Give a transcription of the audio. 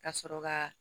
Ka sɔrɔ ka